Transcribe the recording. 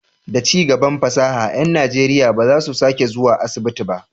Da cigaban fasaha, ƴan Najeriya ba za su sake zuwa asibiti ba.